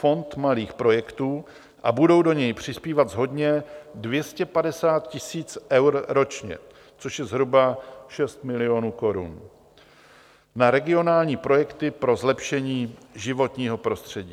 Fond malých projektů a budou do něj přispívat shodně 250 tisíc eur ročně, což je zhruba 6 milionů korun, na regionální projekty pro zlepšení životního prostředí.